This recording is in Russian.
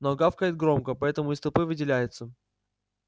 но гавкает громко поэтому из толпы выделяется